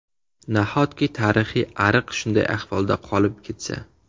Nahotki tarixiy ariq shunday ahvolda qolib ketsa.